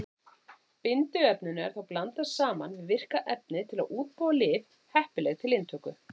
Bindiefninu er þá blandað saman við virka efnið til að útbúa lyf heppileg til inntöku.